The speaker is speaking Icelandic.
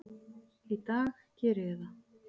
Í dag geri ég það.